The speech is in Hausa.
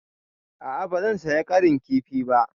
A'a ba zan saya ƙarin kifi ba.